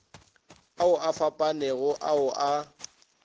ao a fapanego ao a